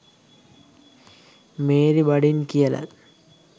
Mary බඩින් කියලත්